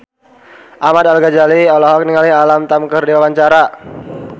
Ahmad Al-Ghazali olohok ningali Alam Tam keur diwawancara